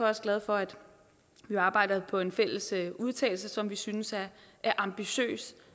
også glad for at vi arbejder på en fælles udtalelse som vi synes er ambitiøs